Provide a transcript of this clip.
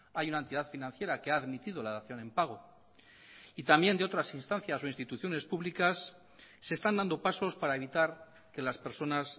hay una entidad financiera que ha admitido la dación en pago y también de otras instancias o instituciones públicas se están dando pasos para evitar que las personas